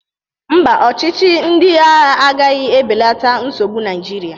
Mba, ọchịchị ndị agha agaghị ebelata nsogbu Naịjirịa.